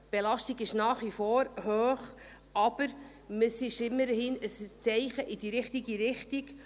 Die Belastung ist nach wie vor hoch, aber es ist immerhin ein Zeichen in die richtige Richtung.